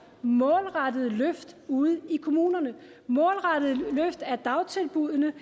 målrettede løft ude i kommunerne målrettede løft af dagtilbuddene